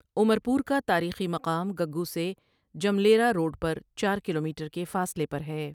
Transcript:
عمر پور کا تاریخی مقام گگو سے جملیر ا روڈ پر چار کلومیٹر کے فاصلے پر ہے ۔